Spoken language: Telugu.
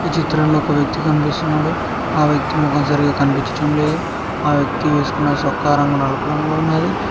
ఈ చిత్రంలో ఒక వ్యక్తి కనిపిస్తున్నాడు ఆ వ్యక్తి మొఖం సరిగా కనిపించడం లేదు ఆ వ్యక్తి వేసుకున్న సోక్కా రంగు నలుపు రంగులో ఉన్నాది.